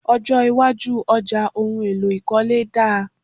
Ọjọ́ iwájú ọjà ohun èlò ìkọ́lé dáa.